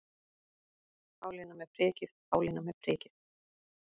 Pálína með prikið, Pálína með prikið.